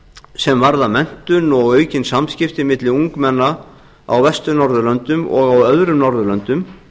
sem varða menntun og aukin samskipti milli ungmenna á vestur norðurlöndum og á öðrum norðurlöndum